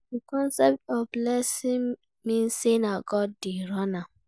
The concept of blessing mean say na God de run am